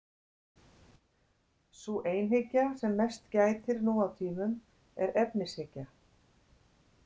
Sú einhyggja sem mest gætir nú á tímum er efnishyggja.